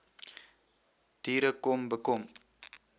diere kom bekom